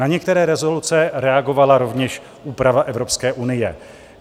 Na některé rezoluce reagovala rovněž úprava Evropské unie.